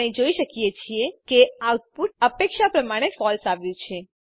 આપણે જોઈ શકીએ છીએ કે આઉટપુટ અપેક્ષા પ્રમાણે ફળસે આવ્યું છે